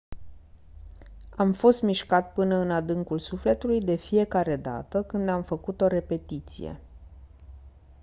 am fost mișcat până în adâncul sufletului de fiecare dată când am făcut o repetiție